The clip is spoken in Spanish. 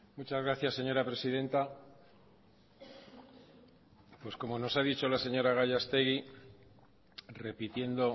muchas gracias señora presidenta pues como nos ha dicho la señora gallastegui repitiendo